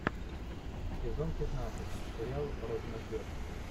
сезон пятнадцать сериал родина ждет